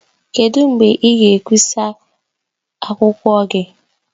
Kedu mgbe ị ga-ekwụsa akwụkwọ gị?